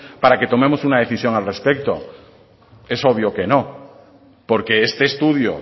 para que tomemos una decisión al respecto es obvio que no porque este estudio